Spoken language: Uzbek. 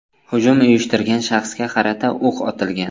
Hujum uyushtirgan shaxsga qarata o‘q otilgan.